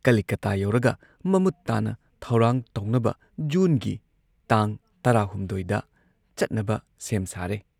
ꯀꯂꯤꯀꯇꯥ ꯌꯧꯔꯒ ꯃꯃꯨꯠ ꯇꯥꯅ ꯊꯧꯔꯥꯡ ꯇꯧꯅꯕ ꯖꯨꯟꯒꯤ ꯇꯥꯡ ꯇꯔꯥ ꯍꯨꯝꯗꯣꯏ ꯗ ꯆꯠꯅꯕ ꯁꯦꯝ ꯁꯥꯔꯦ ꯫